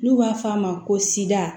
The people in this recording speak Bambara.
N'u b'a f'a ma ko sida